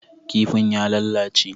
Kifin ya lalace.